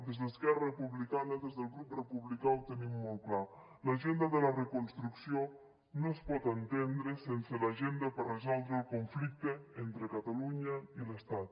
des d’esquerra republicana des del grup republicà ho tenim molt clar l’agenda de la reconstrucció no es pot entendre sense l’agenda per resoldre el conflicte entre catalunya i l’estat